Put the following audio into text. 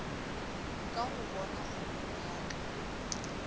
ka hobona kgolong ya ka